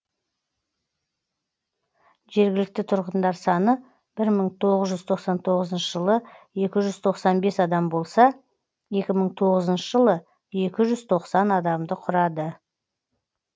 жергілікті тұрғындар саны бір мың тоғыз жүз тоқсан тоғызыншы жылы екі жүз тоқсан бес адам болса екі мың тоғызыншы жылы екі жүз тоқсан адамды құрады